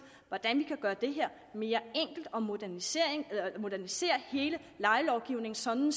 hvordan vi kan gøre det her mere enkelt og modernisere modernisere hele lejelovgivningen sådan